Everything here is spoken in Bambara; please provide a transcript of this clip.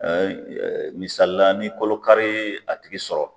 Ɛɛ misali la, ni kɔlɔ kari y'a tigi sɔrɔ